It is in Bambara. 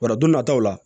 Wala don nataw la